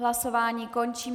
Hlasování končím.